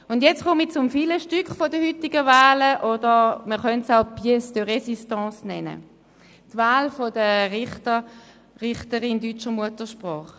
Nun komme ich zum Filetstück der heutigen Wahlen, man könnte es auch das Pièce de Résistance nennen: die Wahl der Richterin, des Richters deutscher Muttersprache.